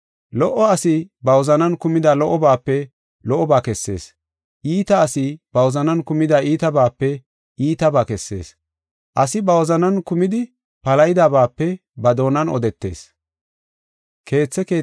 Lo77o asi ba wozanan kumida lo77obaape lo77oba kessees. Iita asi ba wozanan kumida iitabaape iitabaa kessees. Asi ba wozanan kumidi palahidabaape ba doonan odetees.